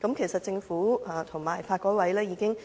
其實政府和法律改革委員會已